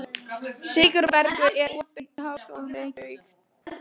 Sigurbergur, er opið í Háskólanum í Reykjavík?